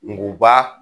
Ngu ba